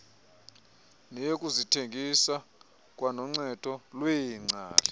neyokuzithengisa kwanoncedo lweengcali